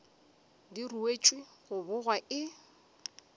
di ruetšwe go bogwa e